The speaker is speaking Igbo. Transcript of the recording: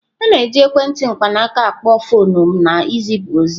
A na-eji ekwentị mkpanaaka akpo foọnụ na izipu ozi.